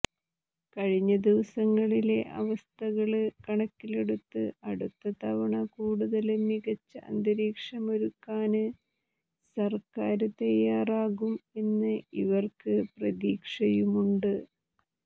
കഴിഞ്ഞ ദിവസങ്ങളിലെ അവസ്ഥകള് കണക്കിലെടുത്ത് അടുത്ത തവണ കൂടുതല് മികച്ച അന്തരീക്ഷമൊരുക്കാന് സര്ക്കാര് തയ്യാറാകും എന്ന് ഇവര്ക്കു പ്രതീക്ഷയുമുണ്ട്